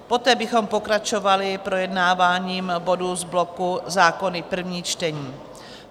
Poté bychom pokračovali projednáváním bodů z bloku Zákony první čtení.